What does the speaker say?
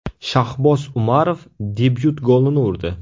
Shahboz Umarov debyut golini urdi.